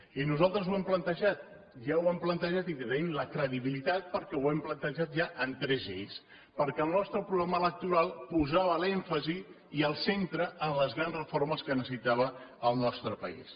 i nosaltres ho hem plantejat ja ho hem plantejat i tenim la credibilitat perquè ho hem plantejat ja en tres eixos perquè el nostre programa electoral posava l’èmfasi i el centre en les grans reformes que necessitava el nostre país